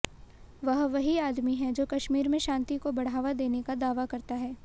वह वही आदमी है जो कश्मीर में शांति को बढ़ावा देने का दावा करता है